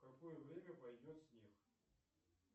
в какое время пойдет снег